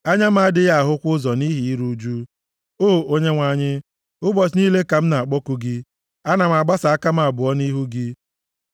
anya m adịghị ahụkwa ụzọ nʼihi iru ụjụ. O Onyenwe anyị, ụbọchị niile ka m na-akpọku gị; ana m agbasa aka m abụọ nʼihu gị,